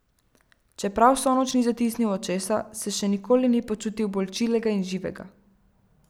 Čeprav vso noč ni zatisnil očesa, se še nikoli ni počutil bolj čilega in živega.